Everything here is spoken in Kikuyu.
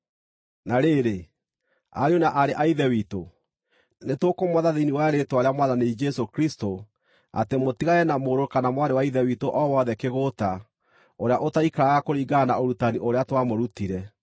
Na rĩrĩ, ariũ na aarĩ a Ithe witũ, nĩtũkũmwatha thĩinĩ wa rĩĩtwa rĩa Mwathani Jesũ Kristũ, atĩ mũtigane na mũrũ kana mwarĩ wa Ithe witũ o wothe kĩgũũta, ũrĩa ũtaikaraga kũringana na ũrutani ũrĩa twamũrutire.